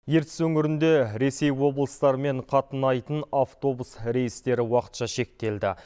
ертіс өңірінде ресей облыстарымен қатынайтын автобус рейстері уақытша шектелді